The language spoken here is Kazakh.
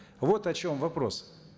вот о чем вопрос